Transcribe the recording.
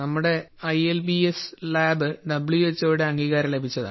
നമ്മുടെ I L P S lab W H O യുടെ അംഗീകാരം ലഭിച്ചതാണ്